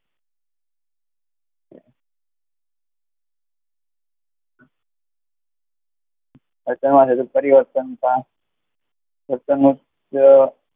વર્તનમાં થતું પરિવર્તન પણ,